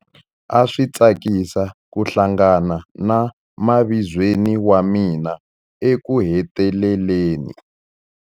A swi tsakisa ku hlangana na mavizweni wa mina ekuheteleleni.